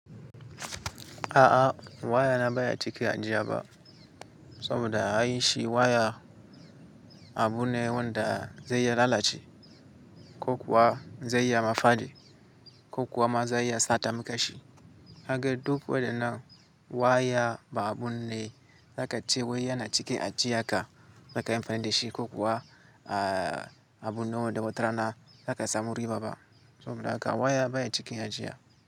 A'a waya na baya cika ajiya ba, saboda ai shi waya abu ne wanda zai iya lalace ko kuwa zai iya mafadi ko kuwa ma zai iya sata makashi. Kaga duk wadan nan waya ba abu ne za ka ce wai yana cikin ajiya ka, za kai amfani da shi ko kuwa abu nawa da watarana zaka samu riba ba. Saboda haka waya baya cikin ajiya.